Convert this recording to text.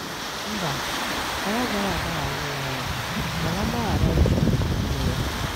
Mba, anyị agaghị agbághàrá onwe anyị, mana mgbághàrá anyị chọrọ dị n'ime ya.